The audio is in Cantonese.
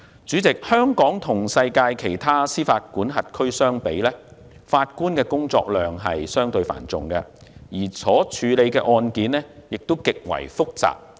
主席，香港與世界其他司法管轄區相比，法官的工作量相對繁重，而所處理的案件亦極其複雜。